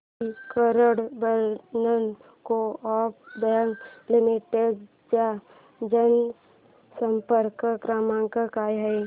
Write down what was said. दि Karad urban co-op bank limited चा जनसंपर्क क्रमांक काय आहे